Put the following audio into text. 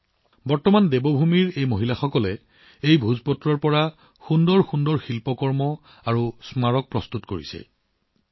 আজি এই ভোজপাত্ৰৰ পৰাই দেৱভূমিৰ এই মহিলাসকলে অতি সুন্দৰ শিল্পকৰ্ম আৰু স্মৃতিগ্ৰন্থ তৈয়াৰ কৰিছে